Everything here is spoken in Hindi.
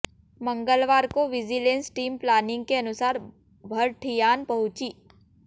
मंगलवार को विजिलेंस टीम प्लानिंग के अनुसार भरठियाण पहुंची